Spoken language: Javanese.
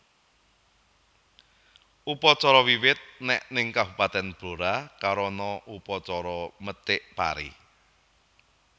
Upacara Wiwit nèk ning kabupatèn Blora karana upacara methik pari